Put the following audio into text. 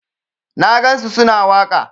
Na gansu su na waƙa.